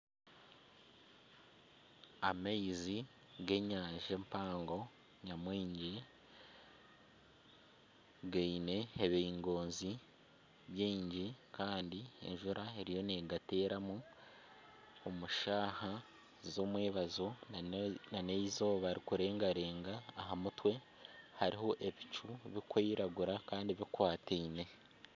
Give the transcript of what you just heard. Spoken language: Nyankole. Amaizi g'enyanja empango nyamwingi giine ebingoonzi biingi Kandi enjura eriyo negateera mu omu shaaha z'omwebazyo nana eizooba rikurengarenga aha mutwe hariho ebicu birikwiragira Kandi bikwatiine.